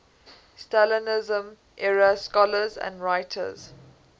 stalinism era scholars and writers